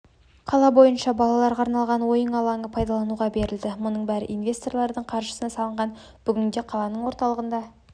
қала бойынша балаларға арналған ойын алаңы пайдалануға берілді мұның бәрі инвесторлардың қаржысына салынған бүгінде қаланың орталығында